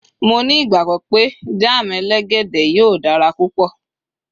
mo ni igbagbọ pe jam elegede yíò dara púpò